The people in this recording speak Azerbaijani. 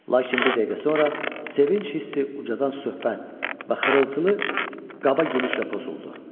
Lakin bir dəqiqə sonra sevinc hissi ucadan söhbət və xırıltılı qaba gülüşlə pozuldu.